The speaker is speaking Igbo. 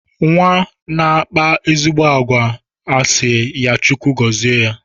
Nwa na-akpa ezigbo àgwà a sị ya Chukwu gọzie ya.